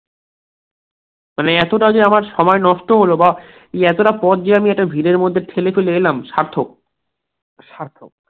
তালে এতটা যে আমার সময় নষ্ট হলো বা এতটা পর যে আমি ভিড় ঠেলে ফেলে এলাম, সার্থক সার্থক